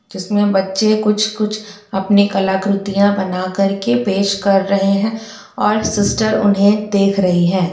जिसमें बच्चे कुछ-कुछ अपनी कलाकृतिया बना करके पेश कर रहे है और सिस्टर उन्हे देख रही है।